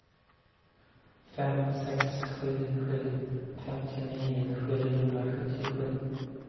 fem sex sju sju femtionio sjuhundrasjuttiosju